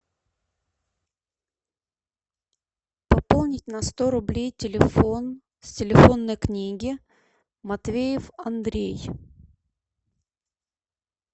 пополнить на сто рублей телефон с телефонной книги матвеев андрей